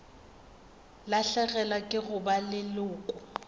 lahlegelwa ke go ba leloko